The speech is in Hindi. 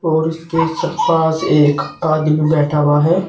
और उसके पास एक आदमी बैठा हुआ है।